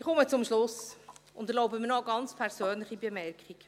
Ich komme zum Schluss und erlaube mir noch eine ganz persönliche Bemerkung.